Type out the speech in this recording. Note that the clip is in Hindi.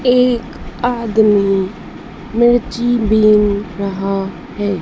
एक आदमी मिर्ची बिन रहा है।